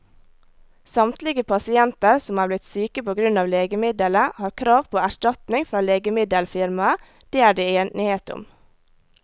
Samtlige pasienter som er blitt syke på grunn av legemiddelet, har krav på erstatning fra legemiddelfirmaet, det er det enighet om.